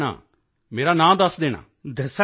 ਦਸ ਦੇਣਾ ਮੇਰਾ ਨਾਂ ਦੱਸ ਦੇਣਾ